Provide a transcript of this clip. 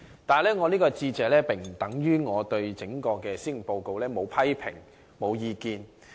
不過，這並不等於我對整份施政報告沒有批評或意見。